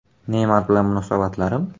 Neymar bilan munosabatlarim?